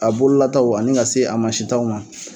A bololataw ani ka se a mansitaw ma.